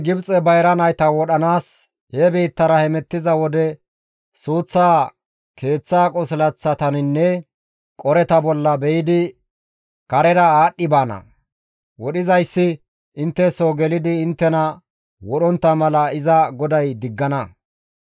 GODAY Gibxe bayra nayta wodhanaas he biittara hemettiza wode suuth keeththa qosilaththataninne qoreta bolla be7idi karera aadhdhi baana; wodhizayssi intte soo gelidi inttena wodhontta mala iza GODAY diggana.